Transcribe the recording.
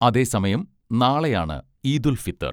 അതേസമയം നാളെയാണ് ഈദ് ഉൽ ഫിത്തർ